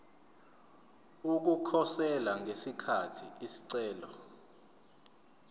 ukukhosela ngesikhathi isicelo